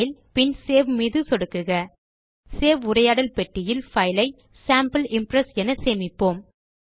file பின் save மீது சொடுக்குக சேவ் உரையாடல் பெட்டியில் பைலை நாம் சேம்பிள் இம்ப்ரெஸ் என சேமிப்போம்